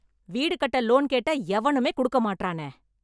வீடு கட்ட லோன் கேட்டா எவனுமே கொடுக்க மாட்றானே